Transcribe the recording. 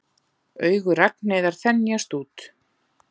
Augu Ragnheiðar þenjast út.